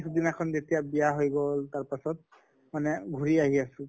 দিনাখন যেতিয়া বিয়া হৈ গʼল তাৰ পাছত ঘুৰি আহি আছো